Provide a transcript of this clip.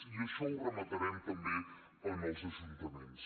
i això ho rematarem també en els ajuntaments